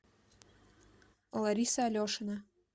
лариса алешина